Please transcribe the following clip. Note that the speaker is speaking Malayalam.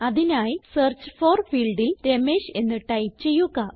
അതിനായി സെർച്ച് ഫോർ ഫീൽഡിൽ രമേഷ് എന്ന് ടൈപ്പ് ചെയ്യുക